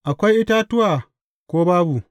Akwai itatuwa, ko babu?